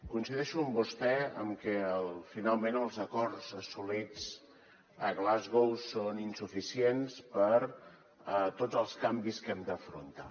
coincideixo amb vostè en que finalment els acords assolits a glasgow són insuficients per a tots els canvis que hem d’afrontar